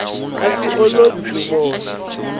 a swi olovi ku vona